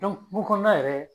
kungo kɔnɔna yɛrɛ